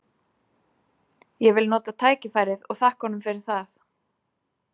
Ég vil nota tækifærið og þakka honum fyrir það.